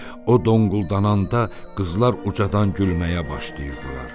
O donquldananda qızlar ucadan gülməyə başlayırdılar.